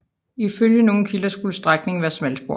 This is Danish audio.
Ifølge nogle kilder skulle strækningen være smalspor